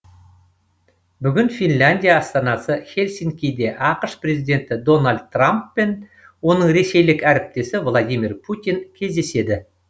бүгін финляндия астанасы хельсинкиде ақш президенті дональд трамп пен оның ресейлік әріптесі владимир путин кездеседі